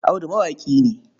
Audu mawaƙi ne.